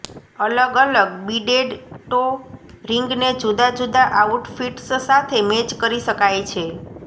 અલગ અલગ beaded toe રિંગને જુદા જુદા આઉટફિટ્સ સાથે મેચ કરી શકાય છે